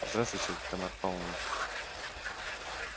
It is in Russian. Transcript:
здравствуйте тамара павловна